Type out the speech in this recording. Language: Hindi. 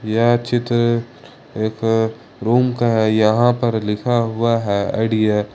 यह चित्र एक रूम का है यहां पर लिखा हुआ है आइडिया ।